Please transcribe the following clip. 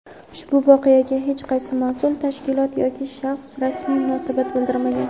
ushbu voqeaga hech qaysi mas’ul tashkilot yoki shaxs rasmiy munosabat bildirmagan.